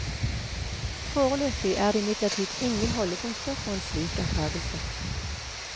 Foreløpig er det imidlertid ingen holdepunkter for en slik antagelse.